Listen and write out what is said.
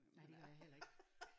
Nej det gør jeg heller ikke